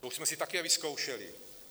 To už jsme si také vyzkoušeli.